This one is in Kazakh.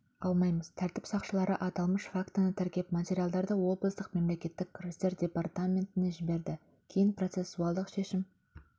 алмаймыз тәртіп сақшылары аталмыш фактіні тіркеп материалдарды облыстық мемлекеттік кірістер департаментіне жіберді кейін процессуалдық шешім